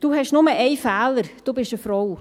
«Du hast nur einen Fehler, du bist eine Frau.